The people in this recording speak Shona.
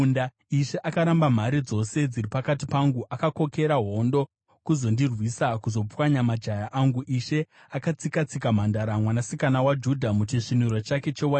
“Ishe akaramba mhare dzose dziri pakati pangu; akakokera hondo kuzondirwisa kuzopwanya majaya angu. Ishe akatsika-tsika Mhandara Mwanasikana waJudha muchisviniro chake chewaini.